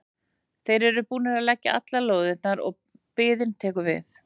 Þeir eru búnir að leggja allar lóðirnar og biðin tekur við.